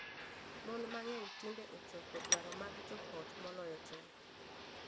Mon mang'eny tinde chopo dwaro mag joot moloyo chon.